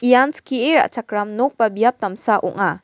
ian skie ra·chakram nok ba biap damsa ong·a.